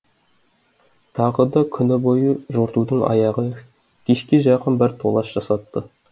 тағы да күні бойы жортудың аяғы кешке жақын бір толас жасатты